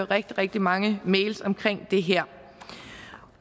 rigtig rigtig mange mails om det her